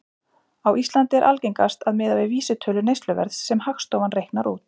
Á Íslandi er algengast að miða við vísitölu neysluverðs sem Hagstofan reiknar út.